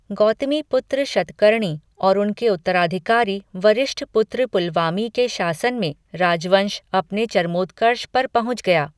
गौतमीपुत्र शतकर्णी और उनके उत्तराधिकारी वशिष्ठपुत्र पुलमावी के शासन में राजवंश अपने चरमोत्कर्ष पर पहुंच गया।